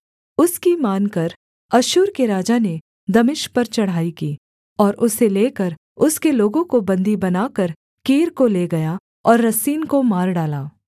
उसकी मानकर अश्शूर के राजा ने दमिश्क पर चढ़ाई की और उसे लेकर उसके लोगों को बन्दी बनाकर कीर को ले गया और रसीन को मार डाला